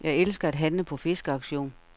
Jeg elsker at handle på fiskeauktion.